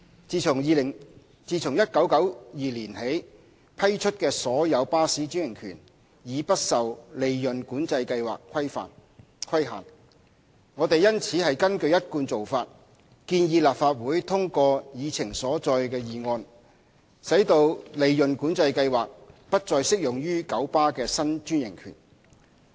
自1992年起批出的所有巴士專營權已不受利潤管制計劃規限。我們因此根據一貫做法，建議立法會通過議程所載的議案，使利潤管制計劃不適用於九巴的新專營權。